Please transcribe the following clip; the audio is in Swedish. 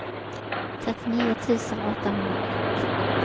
trettionio tusen åttahundraett